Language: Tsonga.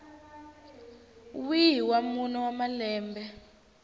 wihi wa mune wa malembe